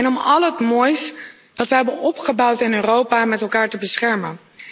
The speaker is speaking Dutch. En om al het moois dat we hebben opgebouwd in Europa met elkaar te beschermen.